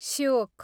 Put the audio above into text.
Shyok